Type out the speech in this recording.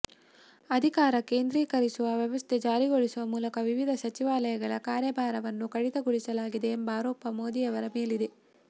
ಅಧಿಕಾರ ಕೇಂದ್ರೀಕರಿಸುವ ವ್ಯವಸ್ಥೆ ಜಾರಿಗೊಳಿಸುವ ಮೂಲಕ ವಿವಿಧ ಸಚಿವಾಲಯಗಳ ಕಾರ್ಯಭಾರವನ್ನು ಕಡಿತಗೊಳಿಸಲಾಗಿದೆ ಎಂಬ ಆರೋಪ ಮೋದಿಯವರ ಮೇಲಿದೆ